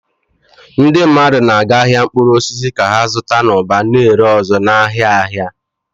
Ndị mmadụ na-aga ahịa mkpụrụ osisi ka ha zụta n'ụba, na-ere ọzọ n'ahịa ahịa.